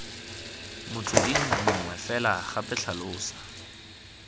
motsweding mongwe fela gape tlhalosa